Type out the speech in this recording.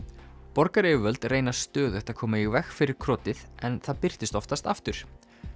borgaryfirvöld reyna stöðugt að koma í veg fyrir en það birtist oftast aftur